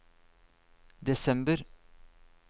desember